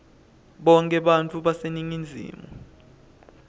bonkhe bantfu baseningizimu